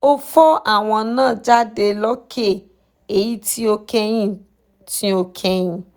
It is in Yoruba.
ó fọ́ àwo náà jáde lókè èyí tí ó kẹ́yìn tí ó kẹ́yìn